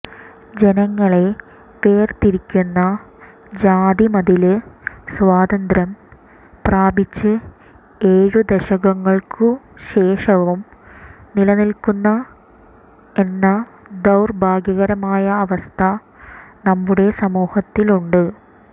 ജനങ്ങളെ വേര്തിരിക്കുന്ന ജാതിമതില് സ്വാതന്ത്ര്യം പ്രാപിച്ച് ഏഴ് ദശകങ്ങള്ക്കു ശേഷവും നിലനില്ക്കുന്നു എന്ന ദൌര്ഭാഗ്യകരമായ അവസ്ഥ നമ്മുടെ സമൂഹത്തില് ഉണ്ട്